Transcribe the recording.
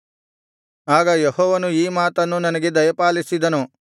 ಆಗ ಯೆಹೋವನು ಈ ಮಾತನ್ನು ನನಗೆ ದಯಪಾಲಿಸಿದನು